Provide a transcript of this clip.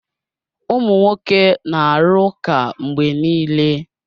Ụmụ nwoke na-arụ ụka mgbe niile.